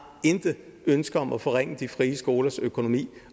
intet ønske om at forringe de frie skolers økonomi